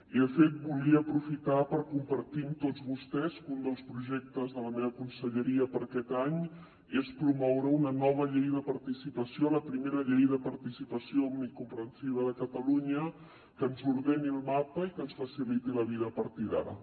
i de fet volia aprofitar per compartir amb tots vostès que un dels projectes de la meva conselleria per a aquest any és promoure una nova llei de participació la primera llei de participació omnicomprensiva de catalunya que ens ordeni el mapa i que ens faciliti la vida a partir d’ara